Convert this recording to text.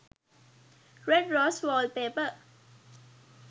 red rose wallpaper